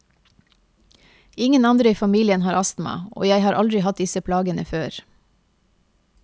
Ingen andre i familien har astma, og jeg har aldri hatt disse plagene før.